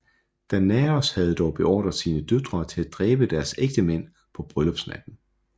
Danaos havde dog beordret sine døtre til at dræbe deres ægtemænd på bryllupsnatten